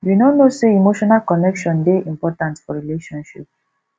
you no know sey emotional connection dey important for relationship